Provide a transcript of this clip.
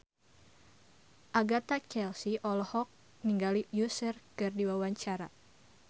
Agatha Chelsea olohok ningali Usher keur diwawancara